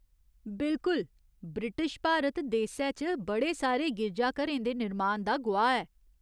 बिल्कुल। ब्रिटिश भारत देसै च बड़े सारे गिरजाघरें दे निर्माण दा गोआह्‌ ऐ।